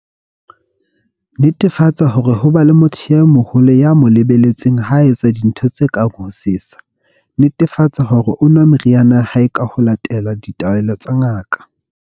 Netefatsa hore ho ba le motho e moholo ya mo le-beletseng ha a etsa dintho tse kang ho sesa. Netefatsa hore o nwa meriana ya hae ho latela ditaelo tsa ngaka.